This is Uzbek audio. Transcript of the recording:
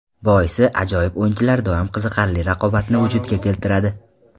Boisi, ajoyib o‘yinchilar doim qiziqarli raqobatni vujudga keltiradi.